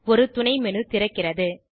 ஒரு துணைமேனு திறக்கிறது